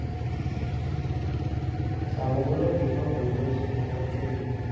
চাব গ'লে FIFA বঢ়িয়া ভাল লাগিছে দেখি কিনে